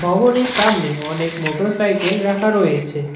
ভবনির সামনে অনেক motorcycle রাখা রয়েছে।